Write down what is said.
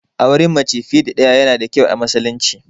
Auren mace fiye da ɗaya yana da kyau a musulunci.